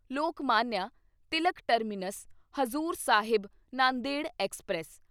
Lokmanya Tilak terminus Hazur Sahib Nanded express